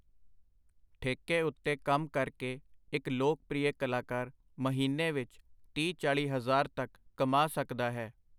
ਠੇਕੇ ਉਤੇ ਕੰਮ ਕਰਕੇ ਇਕ ਲੋਕ-ਪ੍ਰੀਅ ਕਲਾਕਾਰ ਮਹੀਨੇ ਵਿਚ ਤੀਹ-ਚਾਲ੍ਹੀ ਹਜ਼ਾਰ ਤੱਕ ਕਮਾ ਸਕਦਾ ਹੈ.